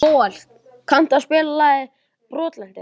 Bóel, kanntu að spila lagið „Brotlentur“?